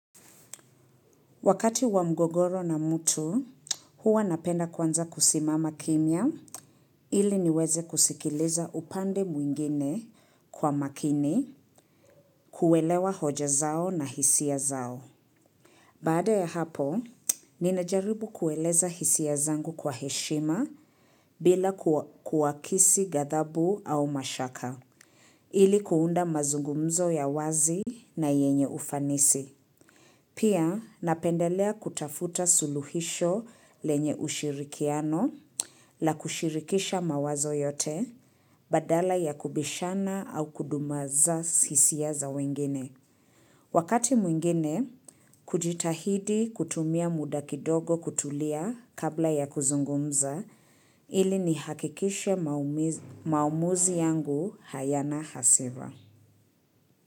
Wakati wa mgogoro na mtu, huwa napenda kwanza kusimama kimya ili niweze kusikiliza upande mwingine kwa makini kuelewa hoja zao na hisia zao. Baada ya hapo, ninajaribu kueleza hisia zangu kwa heshima bila kuwakisi gadhabu au mashaka ili kuunda mazungumzo ya wazi na yenye ufanisi. Pia napendelea kutafuta suluhisho lenye ushirikiano la kushirikisha mawazo yote badala ya kubishana au kudumaza hisia za wengine. Wakati mwingine, kujitahidi kutumia muda kidogo kutulia kabla ya kuzungumza ili nihakikishe maumuzi yangu hayana hasira.